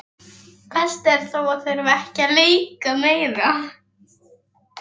Hann labbaði rólega og reyndi að hugsa málið.